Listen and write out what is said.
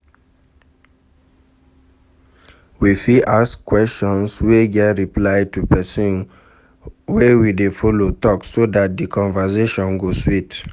We fit ask questions wey get reply to person wey we dey follow talk so dat di conversation go sweet